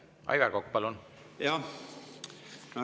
Aivar Kokk, palun!